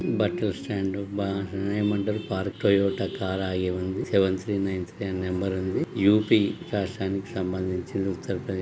పెద్దా బట్టలు స్టాండు బా ఏమంటారు పార్కు టయోటా కారు ఆగి ఉంది. సెవెన్ త్రీ నైన్ త్రీ ఆ నంబర్ ఉంది. U P సంభందిచి ఉత్తరప్రేదేశ్ .